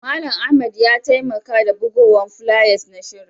Mallam Ahmed ya taimaka da bugowan fulayas na shirin.